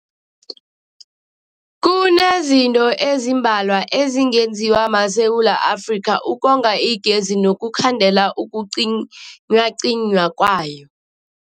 Kunezinto ezimbalwa ezingenziwa maSewula Afrika ukonga igezi nokukhandela ukucinywacinywa kwayo.